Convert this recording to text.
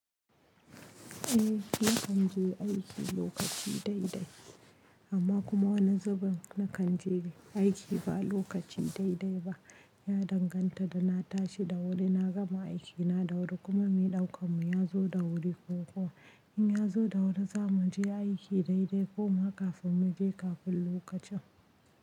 Eh nakan je aiki lokaci dai dai amma kuma wani zubin na kan je aiki ba lokaci dai dai ba. Ya danganta da na tashi da wuri na gama aiki na da wuri kuma mai ɗaukan mu ya zo da wuri ko kuwa in ya zo da wuri za mu je aiki daidai goma kafin mu je kafin lokacin.